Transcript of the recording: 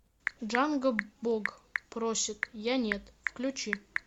джанго бог просит я нет включи